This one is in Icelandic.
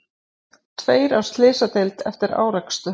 Tveir á slysadeild eftir árekstur